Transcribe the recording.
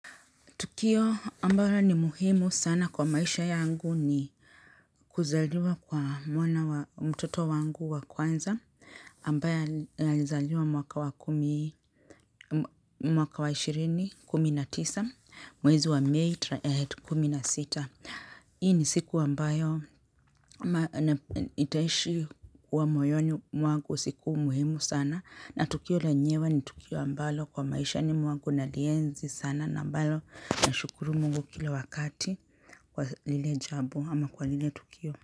Tukio ambayo ni muhimu sana kwa maisha yangu ni kuzaliwa kwa mwana wa mtoto wangu wa kwanza ambaye alizaliwa mwaka wa kumi mwaka wa ishirini kumi na tisa mwezi wa mei kumi na sita. Hii ni siku ambayo itaishi kwa moyoni mwangu siku muhimu sana na tukio lenyewe ni tukio ambalo kwa maisha ni mwangu nalienzi sana na ambalo nashukuru mungu kila wakati kwa lile jambo ama kwa lile tukio.